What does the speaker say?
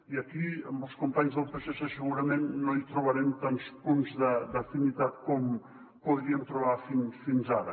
i aquí amb els companys del psc segurament no hi trobarem tants punts d’afinitat com podríem trobar fins ara